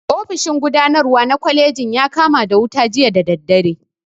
Ofishin gudanarwa na kwalejin ya kama da wuta jiya da dare